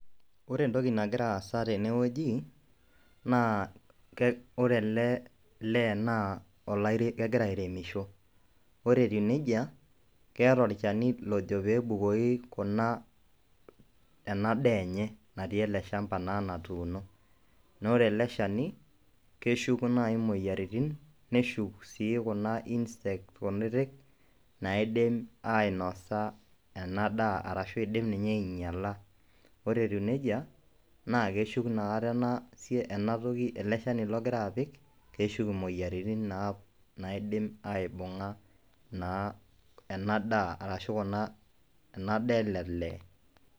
Ore entoki nagira aasa tene wueji naa ore lee naa olaire kegira airemisho, ore etiu neija keeta olchani lojo peebukoki kuna ena daa enye natii ele shamba naa natuuno. Naa ore ele shani keshuk nai moyiaritin, neshuk sii kuna insect kutitik naidim ainosa ena daa arashu idim ninye ainyala, ore etiu neija naake eshuk inakata ena sia ena toki ele shani logira apik keshuk moyiaritin naap anidim aibung'a naa ena daa arashu kuna ena daa ele lee.